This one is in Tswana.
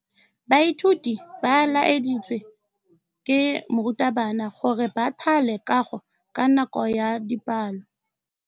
Baithuti ba laeditswe ke morutabana gore ba thale kagô ka nako ya dipalô.